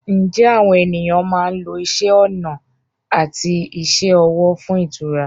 Ǹjẹ́ àwọn ènìyàn máa ń lo isẹ́ ọnà àti iṣẹ́ ọwọ́ fún ìtura?